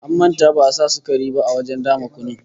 An manta ba'a sa sukari ba a wajen dama kunun